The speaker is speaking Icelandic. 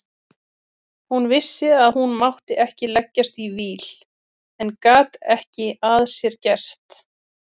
Hún vissi að hún mátti ekki leggjast í víl en gat ekki að sér gert.